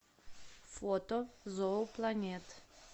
фото зоопланет